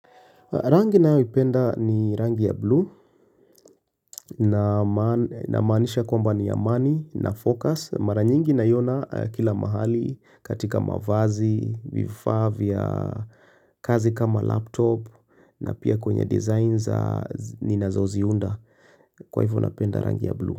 Rangi ninayoipenda ni rangi ya bluu namaanisha kwamba ni amani na focus Mara nyingi naiona kila mahali katika mavazi vifaa vya kazi kama laptop na pia kwenye designs ninazoziunda kwa hivyo napenda rangi ya bluu.